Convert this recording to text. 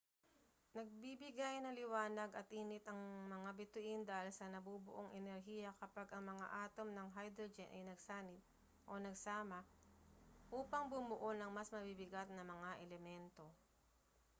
nagbibigay ng liwanag at init ang mga bituin dahil sa nabubuong enerhiya kapag ang mga atom ng hydrogen ay nagsanib o nagsama upang bumuo ng mas mabibigat na mga elemento